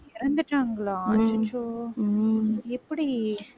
இறந்துட்டாங்களா அச்சச்சோ உம் எப்படி